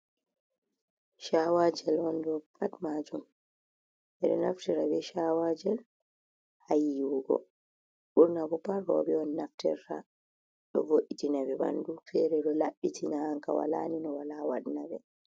Chawa jel wondo pat maju, er naftira be shawajel hayyiwugo durna buparo bewon naftira du vojina bi bandu ferelo labbiti na hanka walanin wala wadna be.